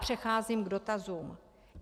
Přecházím k dotazům.